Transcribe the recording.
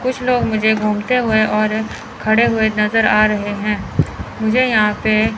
कुछ लोग मुझे घूमते हुए और खड़े हुए नजर आ रहे हैं मुझे यहां पे--